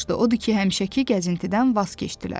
Odur ki, həmişəki gəzintidən vaz keçdilər.